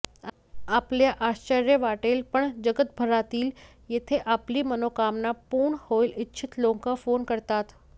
आपल्या आश्चर्य वाटेल पण जगभरातील येथे आपली मनोकामना पूर्ण होऊ इच्छित लोकं फोन करतात